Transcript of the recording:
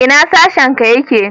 Ina sashen ka yake?